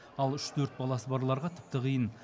ал үш төрт баласы барларға тіпті қиын